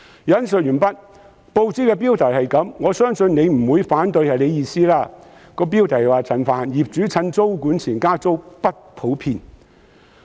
以下是報紙的標題——我相信局長不會反對那是他的意思——"陳帆：業主趁租管前加租不普遍"。